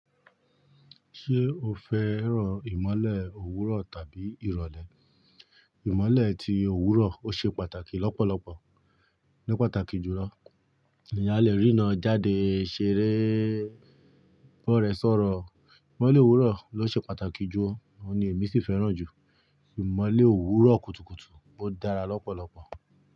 Ṣé o fẹ́ràn ìmọ́lẹ̀ òwúrọ̀ tàbí ìrọ̀lẹ́? Ìmọ́lẹ̀ ti òwúrọ̀ ò ṣe pàtàkì lọ́pọ̀lọpọ̀, ní pàtàkì jùlọ èèyàn lè rína jáde ṣeré bọ̀rẹ́ sọ̀rọ̀. Ìmọ́lẹ̀ òwúrọ̀ ló ṣe pàtàkì jù o, òun ni èmi sì fẹ́ràn jù. Ìmọ́lẹ̀ òwúrọ̀ kùtùkùtù ò dára lọ́pọ̀lọpọ̀